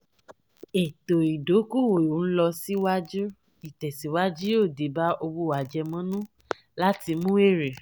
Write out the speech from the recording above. ètò ìdókòwò n lọ síwájú ìtẹ̀síwájú yóò dé bá owó àjẹmọ́nú láti mú èrè.